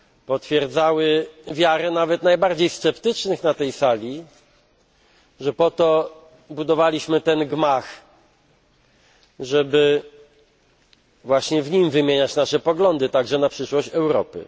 potwierdzały wiarę nawet najbardziej sceptycznych na tej Sali w to, że po to budowaliśmy ten gmach, żeby właśnie w nim wymieniać nasze poglądy, także na temat przyszłości Europy.